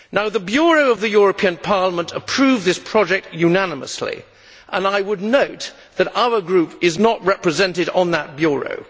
The Bureau of the European Parliament approved this project unanimously, and I would note that our group is not represented on that Bureau.